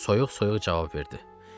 O soyuq-soyuq cavab verdi.